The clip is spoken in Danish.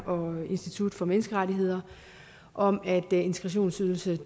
og institut for menneskerettigheder om at integrationsydelsen